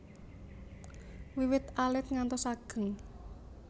Wiwit alit ngantos ageng